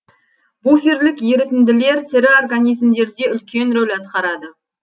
буферлік ерітінділер тірі организмдерде үлкен рөл атқарады